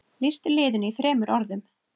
Lýstu liðinu í þremur orðum?